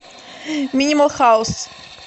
минимал хаус